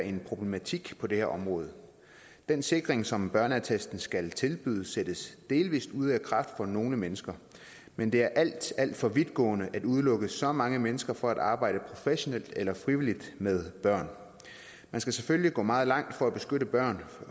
en problematik på det her område den sikring som børneattesten skal tilbyde sættes delvis ud af kraft for nogle mennesker men det er alt alt for vidtgående at udelukke så mange mennesker fra at arbejde professionelt eller frivilligt med børn man skal selvfølgelig gå meget langt for at beskytte børn